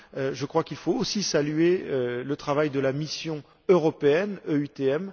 Je crois qu'il faut aussi saluer le travail de la mission européenne EUTM.